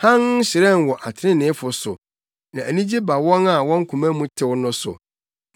Hann hyerɛn wɔ atreneefo so na anigye ba wɔn a wɔn koma mu tew no so.